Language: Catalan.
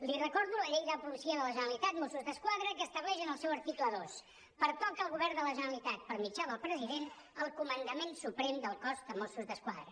li recordo la llei de la policia de la generalitat mossos d’esquadra que estableix en el seu article dos pertoca al govern de la generalitat per mitjà del president el comandament suprem del cos de mossos d’esquadra